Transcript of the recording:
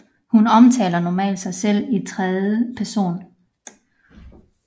Hun omtaler normalt sig selv i tredje person